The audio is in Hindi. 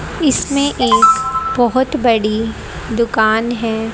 इसमें एक बहुत बड़ी दुकान है।